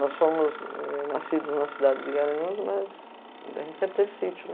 Nós fomos nascidos na cidade de Guaranhuns, mas a gente sempre teve sítio, né?